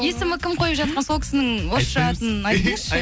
есімі кім қойып жатқан сол кісінің орысша атын айтыңызшы